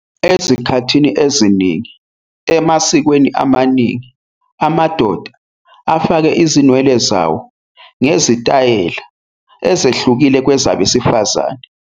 Ezikhathini eziningi emasikweni amaningi, amadoda afake izinwele zawo ngezitayela ezehlukile kwezabesifazane.